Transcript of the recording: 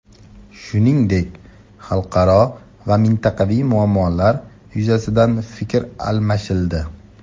Shuningdek, xalqaro va mintaqaviy muammolar yuzasidan fikr almashildi.